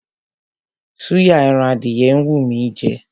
Súyà ẹran adìyẹ ń wú mí í jẹ.